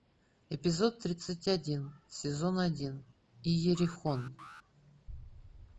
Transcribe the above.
эпизод тридцать один сезон один иерихон